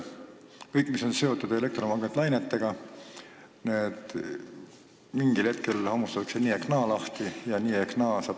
Kõik, mis on seotud elektromagnetlainetega, hammustatakse mingil hetkel lahti nii ehk naa.